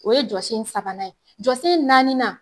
O ye jɔsen sabanan ye. Jɔsen naaninan